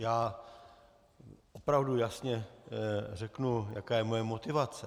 Já opravdu jasně řeknu, jaká je moje motivace.